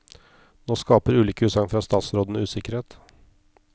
Nå skaper ulike utsagn fra statsrådene usikkerhet.